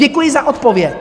Děkuji za odpověď.